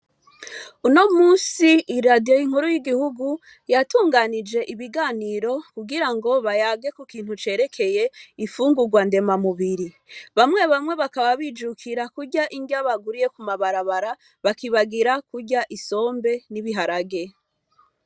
Uno munsi iradiyo nkuru y igihugu yatunganije ibiganiro kugirango bayage kukintu cerekeye ifungurwa ndemamubiri bamwe bamwe bakaba. Bijukiye kurya iriya bakuye mumabara bara bakibagira kurya isombe n'ibiharage.